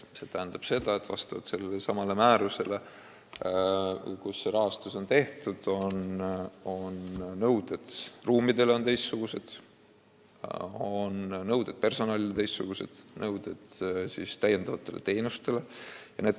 See tähendab seda, et vastavalt sellelesamale määrusele, mis seda rahastust käsitleb, on nõuded ruumidele teistsugused, ka nõuded personalile ja täiendavatele teenustele on teistsugused.